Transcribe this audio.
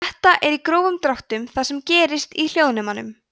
þetta er í grófum dráttum það sem gerist í hljóðnemum